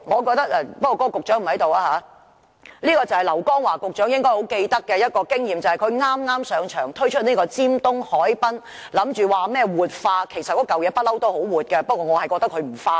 局長現時不在席，這是劉江華局長應該記得的一次經驗，就是在他剛上任時推出的尖東海濱活化計劃，其實那裏一向很"活"，不過我覺得他"不化"。